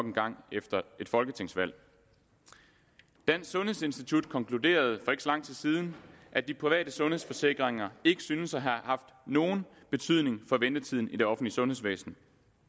en gang efter et folketingsvalg dansk sundhedsinstitut konkluderede lang tid siden at de private sundhedsforsikringer ikke synes at have haft nogen betydning for ventetiden i det offentlige sundhedsvæsen